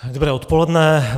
Dobré odpoledne.